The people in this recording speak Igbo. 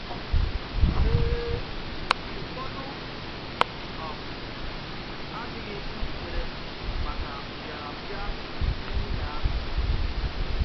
Ee, ụfọdụ um adịghị njikere maka mbị̀arambị̀a di nwunye ahụ.